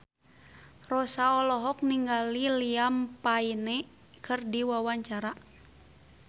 Rossa olohok ningali Liam Payne keur diwawancara